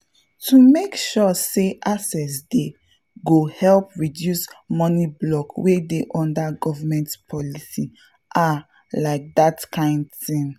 to make sure say access dey go help reduce money block wey dey under government policy—ah like that kind thing.